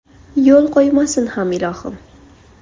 Yo‘l qo‘ymasin ham ilohim.